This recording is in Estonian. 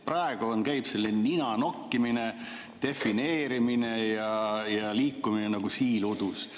Praegu käib selline nina nokkimine, defineerimine ja liikumine nagu siil udus.